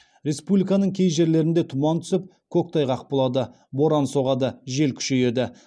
республиканың кей жерлерінде тұман түсіп көктайғақ болады боран соғады жел күшейеді